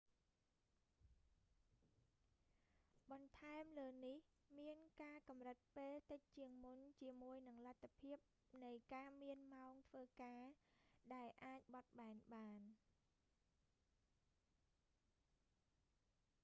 បន្ថែមលើនេះ មានការកម្រិតពេលតិចជាងមុនជាមួយនឹងលទ្ថភាពនៃការមានម៉ោងធ្វើការដែលអាចបត់បែនបាន bremer 1998